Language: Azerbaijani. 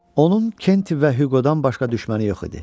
Onun Kenti və Huqodan başqa düşməni yox idi.